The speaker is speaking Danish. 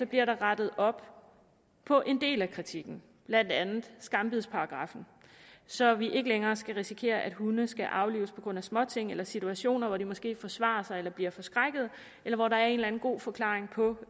bliver rettet op på en del af kritikken blandt andet skambidsparagraffen så vi ikke længere skal risikere at hunde skal aflives på grund af småting situationer hvor de måske forsvarer sig eller bliver forskrækket eller hvor der er en eller anden god forklaring på